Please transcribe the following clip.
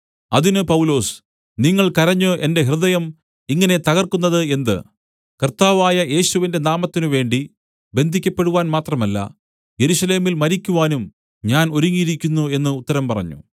അതിന് പൗലൊസ് നിങ്ങൾ കരഞ്ഞ് എന്റെ ഹൃദയം ഇങ്ങനെ തകർക്കുന്നത് എന്ത് കർത്താവായ യേശുവിന്റെ നാമത്തിനുവേണ്ടി ബന്ധിയ്ക്കപ്പെടുവാൻ മാത്രമല്ല യെരൂശലേമിൽ മരിക്കുവാനും ഞാൻ ഒരുങ്ങിയിരിക്കുന്നു എന്ന് ഉത്തരം പറഞ്ഞു